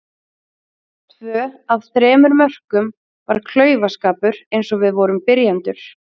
Tvö af þremur mörkum var klaufaskapur eins og við vorum byrjendur.